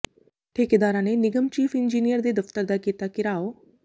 ਠੇਕੇਦਾਰਾਂ ਨੇ ਨਿਗਮ ਚੀਫ਼ ਇੰਜੀਨੀਅਰ ਦੇ ਦਫ਼ਤਰ ਦਾ ਕੀਤਾ ਘਿਰਾਓ